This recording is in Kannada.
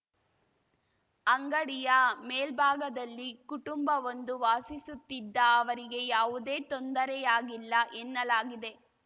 ಅಂಗಡಿಯ ಮೇಲ್ಭಾಗದಲ್ಲಿ ಕುಟುಂಬವೊಂದು ವಾಸಿಸುತ್ತಿದ್ದ ಅವರಿಗೆ ಯಾವುದೇ ತೊಂದರೆಯಾಗಿಲ್ಲ ಎನ್ನಲಾಗಿದೆ